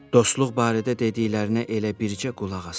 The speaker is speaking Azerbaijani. Dostluq barədə dediklərinə elə bircə qulaq asasan.